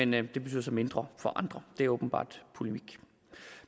men det betyder så mindre for andre det er åbenbart polemik